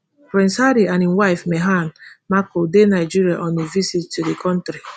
prince harry and im wife meghan markle dey nigeria on a visit to di kontri